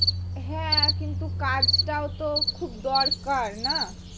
হ্যাঁ কিন্তু কাজটাও তো খুব দরকার না